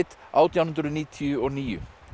átján hundruð níutíu og níu